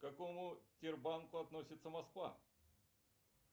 к какому тербанку относится москва